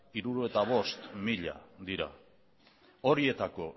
hirurogeita bost mila dira horietako